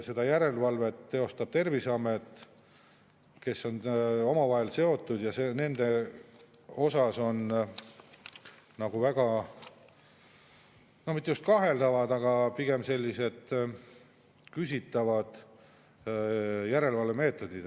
Seda järelevalvet teostab Terviseamet, kes on seotud, ja on nagu väga, no mitte just kaheldavad, aga pigem sellised küsitavad järelevalvemeetodid.